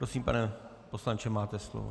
Prosím, pane poslanče, máte slovo.